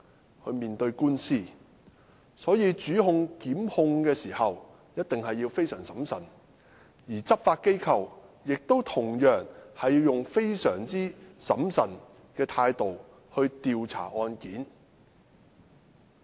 主控官在檢控一宗案件時必須小心審慎，而執法機構亦必須以小心審慎的態度調查案件。